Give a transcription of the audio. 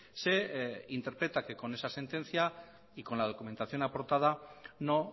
se interpreta que con esa sentencia y con la documentación aportada no